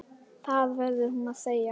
Það verður hún að segja.